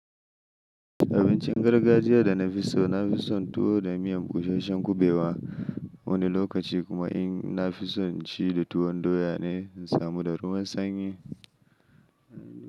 Abincin gargajiya da na fi so, na fi son tuwo da miyan bushashshen kuɓewa, wani lokaci kuma in na fi son in ci da tuwon doya ne, in samu da ruwan sanyi,